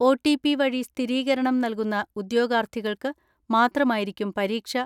O T P വഴി സ്ഥിരീകരണം നൽകുന്ന ഉദ്യോഗാർ ത്ഥികൾക്ക് മാത്രമായിരിക്കും പരീക്ഷ